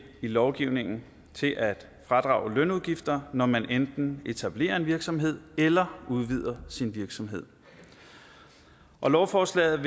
i lovgivningen til at fradrage lønudgifter når man enten etablerer en virksomhed eller udvider sin virksomhed og lovforslaget